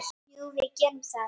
Ég var aldrei sú stelpa.